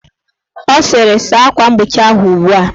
Ọ sịrị, saa akwa mgbochi ahụ ugbua!